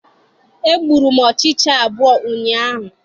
E gbụrụ m ọchịcha abụọ ụnyaahụ.